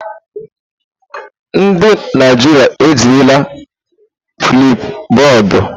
Ndị Naijiria ejirila Flipubọọdu.